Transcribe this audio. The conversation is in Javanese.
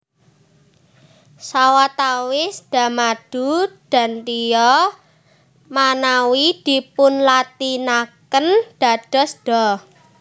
Sawatawis Da madu Dantya manawi dipunlatinaken dados dha